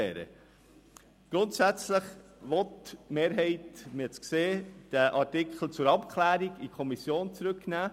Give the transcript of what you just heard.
Wie Sie festgestellt haben, lobt die Mehrheit das Anliegen, den Artikel zur Abklärung in die Kommission zurückzunehmen.